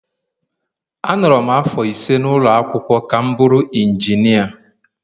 Anọrọ m afọ ise n’ụlọ akwụkwọ ka m bụrụ injinia